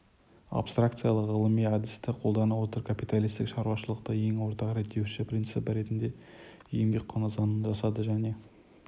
абстракциялы ғылыми әдісті қолдана отырып капиталистік шаруашылықты ең ортақ реттеуші принципі ретінде еңбек құны заңын жасады және